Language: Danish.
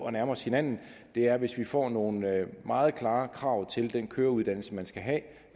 at nærme os hinanden er hvis vi får nogle meget klare krav til den køreuddannelse man skal have